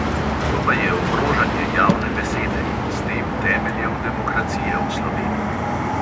To pa je ogrožanje javne besede in s tem temeljev demokracije v sloveniji.